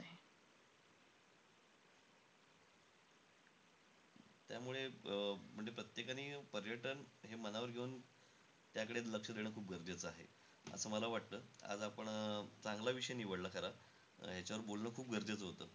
त्यामुळे अं म्हणजे प्रत्येकानी पर्यटन हे मनावर घेऊन त्याकडे लक्ष देणं खूप गरजेचं आहे, असं मला वाटतं. आज आपण अं चांगला विषय निवडला खरा. याच्यावर बोलणं खूप गरजेचं होतं.